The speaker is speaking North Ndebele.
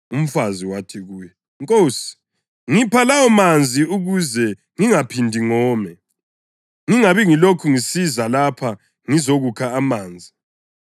Umfazi wathi kuye, “Nkosi, ngipha lawomanzi ukuze ngingaphindi ngome, ngingabi ngilokhu ngisiza lapha ngizokukha amanzi.”